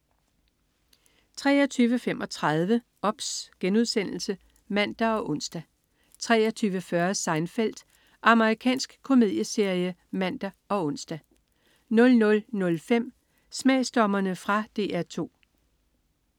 23.35 OBS* (man og ons) 23.40 Seinfeld. Amerikansk komedieserie (man og ons) 00.05 Smagsdommerne. Fra DR 2